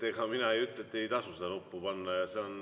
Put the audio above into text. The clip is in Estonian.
Ega mina ei ütle, et ei tasu seda nuppu.